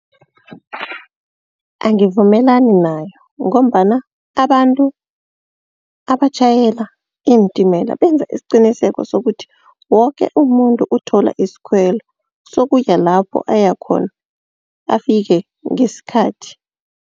Angivumelani nayo ngombana abantu abatjhayela iintimela, benza isiqiniseko sokuthi woke umuntu uthola iskhwelo sokuya lapho ayakhona afike ngesikhathi.